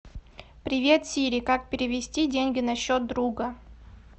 привет сири как перевести деньги на счет друга